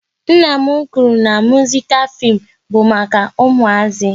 Nna m kwụrụ na muzikal fim bụ maka ụmụazi